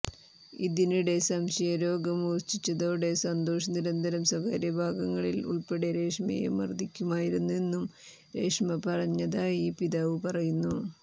ഇതിനിടെ സംശയരോഗം മൂർച്ഛിച്ചതോടെ സന്തോഷ് നിരന്തരം സ്വകാര്യഭാഗങ്ങളിൽ ഉൾപ്പടെ രേഷ്മയെ മർദ്ദിക്കുമായിരുന്നുവെന്നും രേഷ്മ പറഞ്ഞതായി പിതാവ് പറയുന്നു